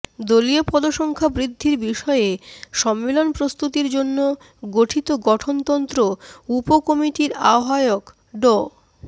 দলীয় পদসংখ্যা বৃদ্ধির বিষয়ে সম্মেলন প্রস্তুতির জন্য গঠিত গঠনতন্ত্র উপ কমিটির আহ্বায়ক ড